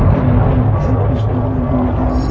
उनके right hand side कुछ और लोग भी बैठे हैं।